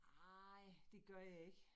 Nej, det gør jeg ikke